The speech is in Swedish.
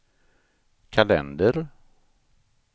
kalender